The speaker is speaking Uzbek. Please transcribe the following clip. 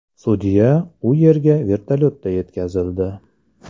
Sudya u yerga vertolyotda yetkazildi.